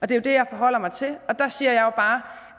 det jo det jeg forholder mig til og der siger bare